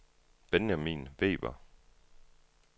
Benjamin Weber